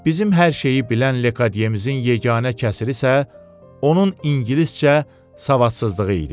Bizim hər şeyi bilən Lekadyemizin yeganə qüsuru isə onun ingiliscə savadsızlığı idi.